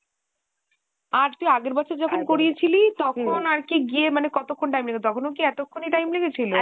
আর তুই আগের বছর যখন করিয়েছিলি তখন আরকি গিয়ে মানে কতক্ষন time লেগেছিলো তখনো কি এতক্ষন ই time লেগেছিলো?